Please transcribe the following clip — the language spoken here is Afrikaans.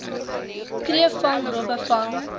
kreefvang robbe vang